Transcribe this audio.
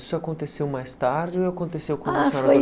Isso aconteceu mais tarde ou aconteceu